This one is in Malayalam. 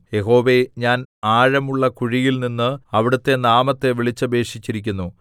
യഹോവേ ഞാൻ ആഴമുള്ളകുഴിയിൽ നിന്ന് അവിടുത്തെ നാമത്തെ വിളിച്ചപേക്ഷിച്ചിരിക്കുന്നു